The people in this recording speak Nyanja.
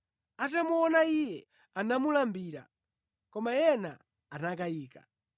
Atamuona Iye, anamulambira; koma ena anakayika.